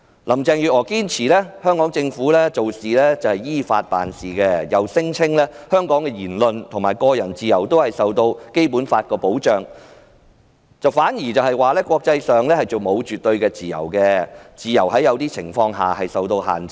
林鄭月娥堅稱香港政府是依法辦事，又聲稱香港的言論和個人自由均受到《基本法》保障，反指國際上並無絕對的自由，自由在某些情況下會受到限制。